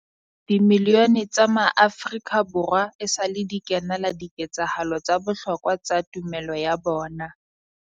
Dimilione tsa maAfrika Borwa esale di kenela di ketsahalo tsa bohlokwa tsa tumelo ya bona.